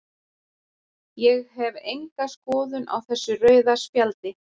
Ég hef enga skoðun á þessu rauða spjaldi.